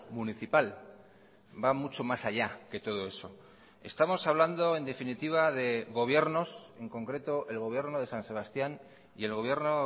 municipal va mucho más allá que todo eso estamos hablando en definitiva de gobiernos en concreto el gobierno de san sebastián y el gobierno